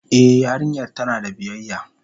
E yarinyar tana da biyayya.